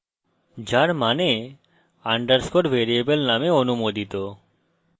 যার means underscore variable name অনুমোদিত